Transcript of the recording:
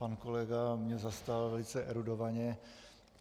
Pan kolega mě zastal velice erudovaně.